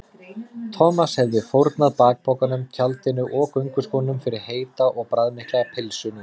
Thomas hefði fórnað bakpokanum, tjaldinu og gönguskónum fyrir heita og bragðmikla pylsu núna.